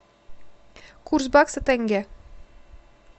курс бакса тенге